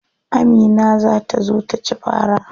Amina za ta zo taci fara.